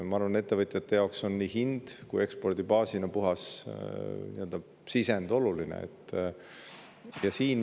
Ma arvan, et ettevõtjate jaoks on oluline nii hind kui ka ekspordibaasina puhas sisend.